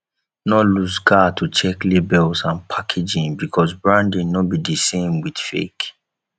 no looseguard to check labels and packaging because branding no be di same with fake